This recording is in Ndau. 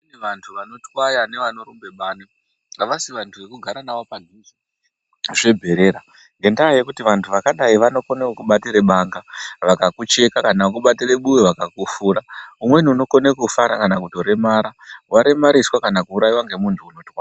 Vantu vanotwaya nevanorumbe bani havasi vantu vekugare navo pasi zvebherera ngendaa yekuti vantu vakadai vanokone kukubatire banga vakakucheka kana kukubatire buwe vakakufura. Umweni unokone kufa kana kutoremara, waremariswa kana kuuraiswa ngemuntu unotwaya ..